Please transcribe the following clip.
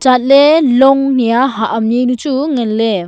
lagley long nia hak am juanu chu nganley.